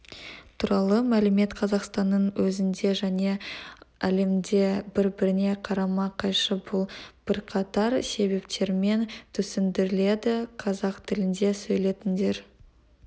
туралы мәлімет қазақстанның өзінде және әлемде бір-біріне қарама-қайшы бұл бірқатар себептермен түсіндіріледі қазақ тілінде сөйлейтіндер